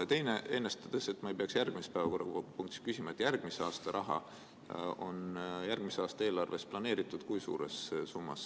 Ja teine, et ma ei peaks järgmises päevakorrapunktis küsima: kui suures summas on järgmise aasta raha järgmise aasta eelarves planeeritud